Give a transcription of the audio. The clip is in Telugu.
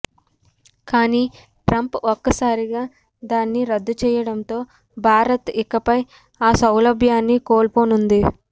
కానీ ట్రంప్ ఒక్కసారిగా దాన్ని రద్దు చేయడంతో భారత్ ఇకపై ఆ సౌలభ్యాన్ని కోల్పోనుంది